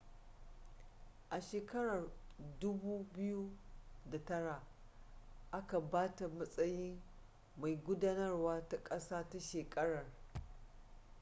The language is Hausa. a shekarar 2009 aka ba ta matsayin mai gudanarwa ta ƙasa ta shekarar